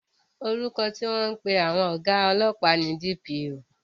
Orúkọ tí wọ́n ń pè àwọn ọ̀gá ọlọ́pàá ni DPO